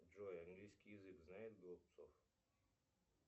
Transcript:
джой английский язык знает голубцов